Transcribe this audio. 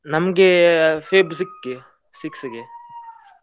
ನಮ್ಗೆ Feb ಸಿಕ್ಕ್ಗೆ, six ಗೆ .